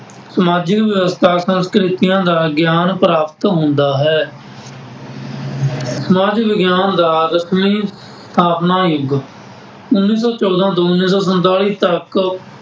ਸਮਾਜਿਕ ਵਿਵਸਥਾ ਸੰਸਕ੍ਰਿਤੀਆਂ ਦਾ ਗਿਆਂਨ ਪ੍ਰਾਪਤ ਹੁੰਦਾ ਹੈ। ਸਮਾਜ ਵਿਗਿਆਨ ਦਾ ਰਸਮੀ ਸਥਾਪਨ ਯੁੱਗ, ਉੱਨੀ ਸੌ ਚੋਦਾਂ ਦੋ ਹਜ਼ਾਰ ਸੰਤਾਲੀ ਤੱਕ